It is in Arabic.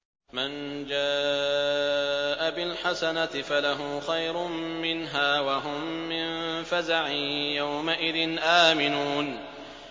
مَن جَاءَ بِالْحَسَنَةِ فَلَهُ خَيْرٌ مِّنْهَا وَهُم مِّن فَزَعٍ يَوْمَئِذٍ آمِنُونَ